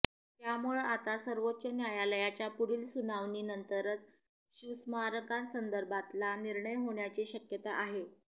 त्यामुळं आता सर्वोच्च न्यायालयाच्या पुढील सुनावणी नंतरच शिवस्मारकासंदर्भातला निर्णय होण्याची शक्यता आहे